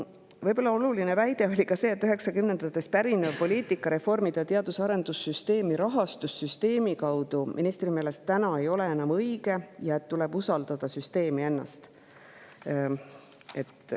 Võib-olla on oluline ka see, et üheksakümnendatest pärinev poliitika, et reformida teadus‑ ja arendussüsteemi rahastussüsteemi kaudu, ei ole ministri meelest enam õige ja tuleb usaldada süsteemi ennast.